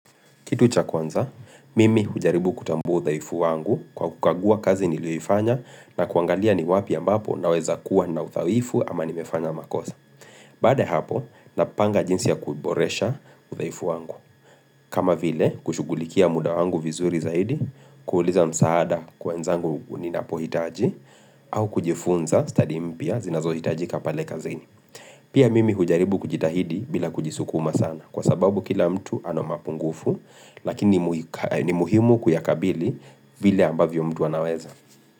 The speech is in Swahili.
Kitu cha kwanza, mimi hujaribu kutambua udhaifu wangu kwa kukagua kazi nilioifanya na kuangalia ni wapi ambapo naweza kuwa na udhaifu ama nimefanya makosa. Baad ya hapo, napanga jinsi ya kuboresha udhaifu wangu. Kama vile, kushugulikia muda wangu vizuri zaidi, kuuliza msaada kwa wenzangu ni napohitaji, au kujifunza study mpya zinazo hitaji kapale kazeni. Pia mimi hujaribu kujitahidi bila kujisukuma sana kwa sababu kila mtu ana mapungufu lakini muhimu kuyakabili vile ambavyo mtu anaweza.